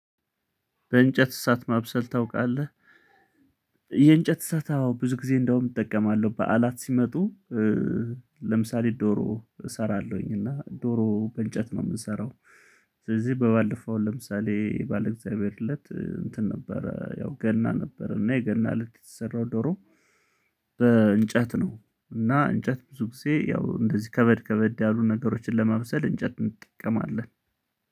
በእንጨት እሳት ማብሰል ታውቃለህ የእንጨት እሳት አዎ ብዙ ጊዜ እንደውም እጠቀማለሁ በዓላት ሲመጡ ለምሳሌ ዶሮ እሰራለሁኝ እና ዶሮ በእንጨት ነው የምሰራው። ስለዚህ በባለፈው ለምሳሌ በለ እግዚአብሔር እለት እንትን ነበረ ያው ገና ነበረ እና የገና እለት የተሰራው ዶሮ። በእንጨት ነው እና እንጨት ብዙ ጊዜ ያው እንደዚህ ከበድ ከበድ ያሉ ነገሮችን ለማብሰል እንጨት እንጠቀማለን።